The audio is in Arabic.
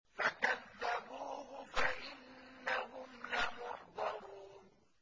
فَكَذَّبُوهُ فَإِنَّهُمْ لَمُحْضَرُونَ